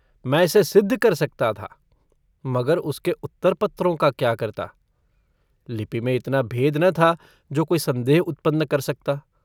मैं इसे सिद्ध कर सकता था मगर उसके उत्तरपत्रों को क्या करता लिपि में इतना भेद न था जो कोई सन्देह उत्पन्न कर सकता।